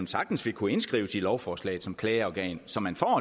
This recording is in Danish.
sagtens vil kunne indskrives i lovforslaget som klageorgan så man får